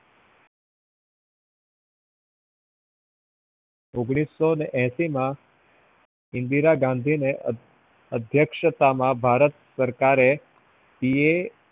ઓગ્નીસ્સો અસી માં ઇન્દિરા ગાંધીને અધ્યક્ષતામાં ભારત સરકાર એ